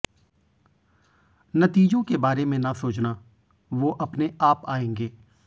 नतीजों के बारे में ना सोचना वो आपने आप आयेंगे